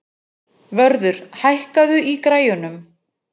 Vörður, hækkaðu í græjunum.